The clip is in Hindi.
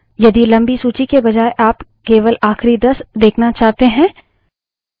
यदि लम्बी सूची के बजाय आप केवल आखिरी दस देखना चाहते हैं